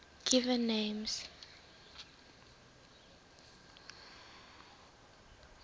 given names